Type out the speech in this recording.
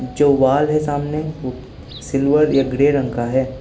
जो वॉल है सामने वो सिल्वर या ग्रे रंग का है।